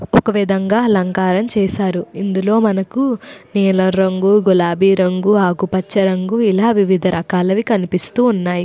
ఒక విధంగా అలంకారము చేశారు. ఇందులో మనకు నీలం రంగు గులాబీ రంగు ఆకుపచ్చ రంగు ఎలా వివిధ రకాలు కనిపిస్తూ ఉన్నాయి.